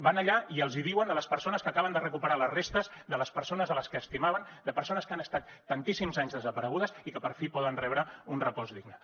van allà i els hi diuen a les persones que acaben de recuperar les restes de les persones que estimaven de persones que han estat tantíssims anys desaparegudes i que per fi poden rebre un repòs digne